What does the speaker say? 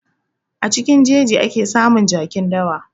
A cikin jeji ake samun jakin dawa.